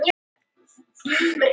Umhverfis segul er segulsvið.